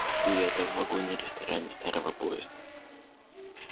и это в вагоне-ресторане старого поезда